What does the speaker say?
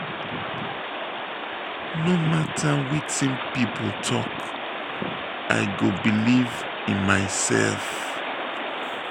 no mata wetin pipo tok i go believe in mysef.